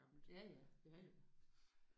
Ja ja. Ja ja